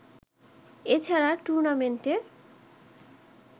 এছাড়া টুর্নামেন্টে